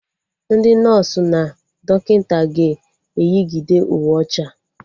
Ndị nọsụ na dọkịta ga-eyigide Uwe ọcha